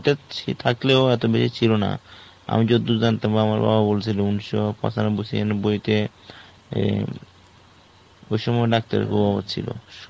সে থাকলেও এত বেশি ছিল না. আমি যতদূর জানতাম বা আমার বাবা বলছিল ঊনিশশো পঁচানব্বই ছিয়ানব্বইতে এ অ্যাঁ ওই সময় doctor এর অভাব ছিল